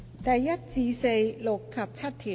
第1至4、6及7條。